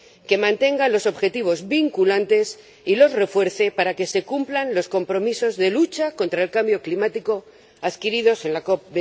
que mantenga los objetivos vinculantes y los refuerce para poder cumplir los compromisos de lucha contra el cambio climático adquiridos en la COP